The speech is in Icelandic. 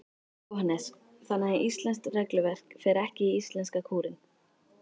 Jóhannes: Þannig að íslenskt regluverk fer ekki í íslenska kúrinn?